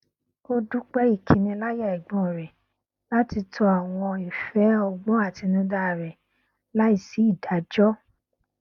ó dúpẹ ìkiniláyà ẹgbọn rẹ láti tọ àwọn ìfẹ ọgbọn àtinúdá rẹ láì sí ìdájọ